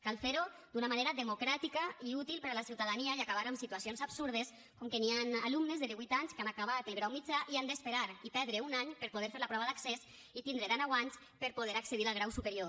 cal fer ho d’una manera democràtica i útil per a la ciutadania i acabar amb situacions absurdes com que hi han alumnes de divuit anys que han acabat el grau mitjà i han d’esperar i perdre un any per poder fer la prova d’accés i tindre dèneu anys per poder accedir al grau superior